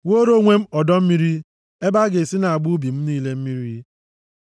wuore onwe m ọdọ mmiri ebe a ga-esi na-agba ubi m niile mmiri.